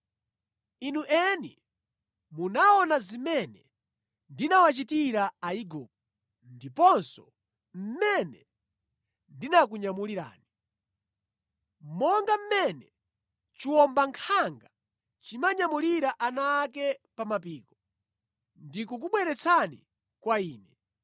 ‘Inu eni munaona zimene ndinawachitira Aigupto ndiponso mmene ndinakunyamulirani, monga mmene chiwombankhanga chimanyamulira ana ake pa mapiko,’ ndikukubweretsani kwa Ine.